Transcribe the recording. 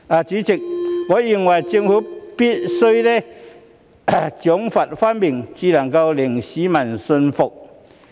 主席，我認為政府必須賞罰分明，才能令市民信服。